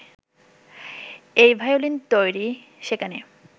এই ভায়োলিন তৈরি, সেখানে